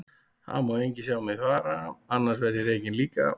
Það má enginn sjá þig fara, annars verð ég rekinn líka.